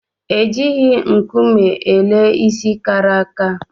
E jighi nkume ele ịsị kàrà àkà